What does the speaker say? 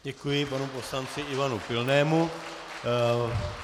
Děkuji panu poslanci Ivanu Pilnému.